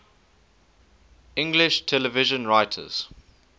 english television writers